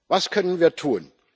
Was können wir tun?